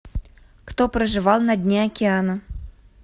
кто проживал на дне океана